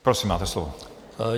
Prosím, máte slovo.